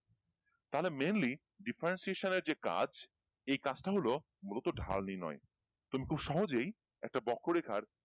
তাহলে mainly differentiation এর যে কাজ এই কাজটা হলো মূলত ঢাল নির্ণয় তুমি খুব সহজেই একটা বক্ষ রেখার